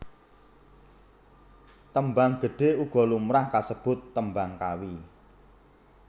Tembang Gedhe uga lumrah kasebut Tembang Kawi